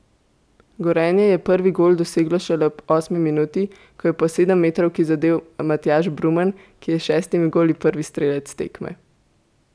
Gorenje je prvi gol doseglo šele v osmi minuti, ko je po sedemmetrovki zadel Matjaž Brumen, ki je bil s šestimi goli prvi strelec tekme.